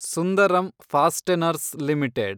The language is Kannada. Sundaram fasteners limited